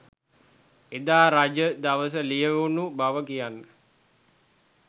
එදා රජ දවසේ ලියැවුණු බව කියන